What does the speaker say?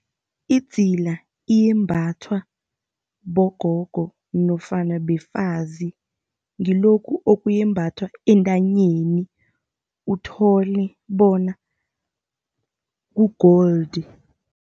Idzila iyembathwa bogogo nofana befazi. Ngilokhu okuyembathwa entanyeni, uthole bona ku-gold.